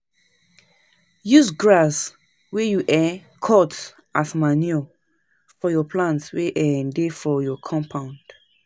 Use grass wey you um cut as manure for your plants wey um dey for your compound